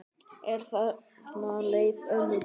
En þarna leið ömmu best.